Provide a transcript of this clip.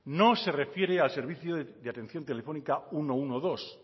no se refiere a servicio de atención telefónica ciento doce